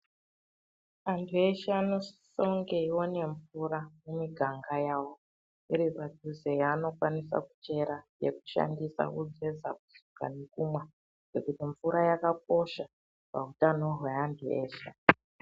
Antu eshe anosisonge aiona mvura mumiganga yawo iri panduze yavanofanira kuchera veishandisa kugeza, kusuke ndiro nekumwa ngekuti mvura yakakosha pautano zveantu eshe